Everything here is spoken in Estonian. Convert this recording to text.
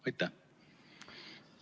Aitäh!